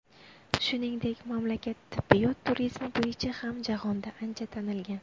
Shuningdek, mamlakat tibbiyot turizmi bo‘yicha ham jahonda ancha tanilgan.